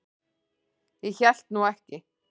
Ég hélt nú ekki.